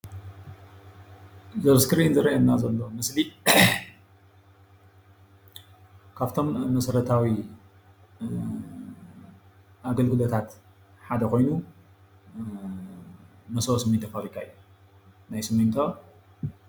እዚ ኣብ እስክሪን ዝርአየና ዘሎ ምስሊ ካፍቶም መሠረታዊ አገልግሎታታት ሓደ ኾይኑ መሠቦ ሲሚንቶ ፋብሪካ እዩ። ናይ ሲሚንቶ